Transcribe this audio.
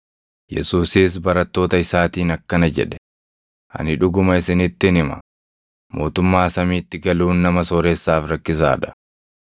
Yesuusis barattoota isaatiin akkana jedhe; “Ani dhuguma isinittin hima; mootummaa samiitti galuun nama sooressaaf rakkisaa dha.